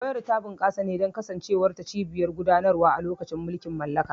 Owerri ta bunƙasa ne don kasancewar ta cibiyar gudanarwa a lokacin mulkin mallaka.